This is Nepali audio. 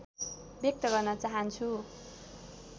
व्यक्त गर्न चाहन्छु